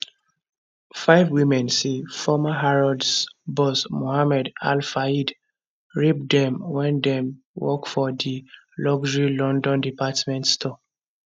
five women say former harrods boss mohamed al fayed rape dem wen dem work for di luxury london department store